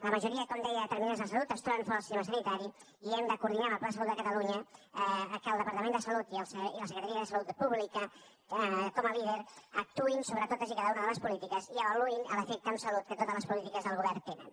la majoria com deia de deter·minants de la salut es troben fora del sistema sanitari i hem de coordinar amb el pla de salut de catalunya que el departament de salut i la secretaria de salut pública com a líder actuïn sobre totes i cada una de les polítiques i avaluïn l’efecte en salut que totes les polítiques del govern tenen